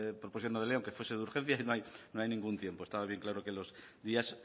proposición no de ley aunque fuese de urgencia no hay ningún tiempo estaba bien claro que los días